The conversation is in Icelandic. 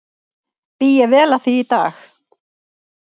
Bý ég vel að því í dag.